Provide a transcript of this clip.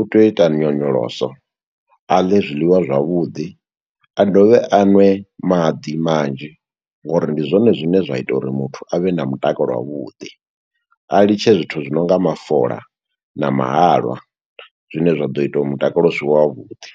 u tea u ita nyonyoloso. A ḽe zwiḽiwa zwavhuḓi, a dovhe a nwe maḓi manzhi, ngo uri ndi zwone zwine zwa ita uri muthu, a vhe na mutakalo wavhuḓi. A litshe zwithu zwi nonga mafola na mahalwa, zwine zwa ḓo ita uri mutakalo u sivhe wa vhuḓi.